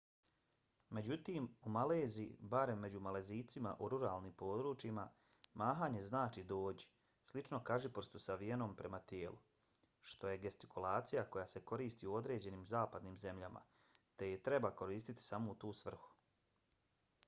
međutim u maleziji barem među malezijcima u ruralnim područjima mahanje znači dođi slično kažiprstu savijenom prema tijelu što je gestikulacija koja se koristi u određenim zapadnim zemljama te je treba koristiti samo u tu svrhu